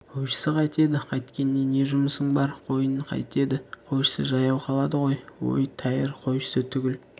қойшысы қайтеді қайткенінде не жұмысың бар қойын қайтеді қойшысы жаяу қалады ғой өй тәйір қойшысы түгіл